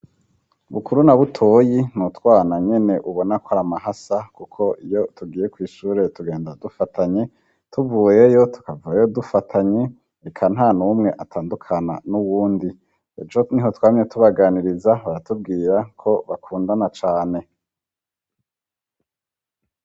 Bukuru na Butoyi n'utwana nyene ubona kwar'amahasa kuko iyo tugiye kw'ishure tugenda dufatanye ,tubuyeyo tukavayo dufatanye, eka ntanumwe atandukana n'uwundi ,ejo niho twamye tubaganiriza baratubwirako bakundana cane.